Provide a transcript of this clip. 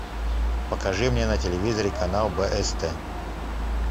покажи мне на телевизоре канал бст